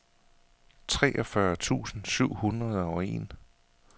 treogfyrre tusind syv hundrede og en